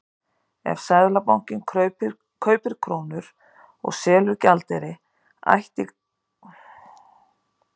Ef Seðlabankinn kaupir krónur og selur gjaldeyri ætti gengi krónunnar alla jafna að styrkjast.